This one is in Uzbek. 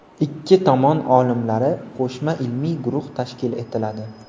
Ikki tomon olimlari qo‘shma ilmiy guruhi tashkil etiladi.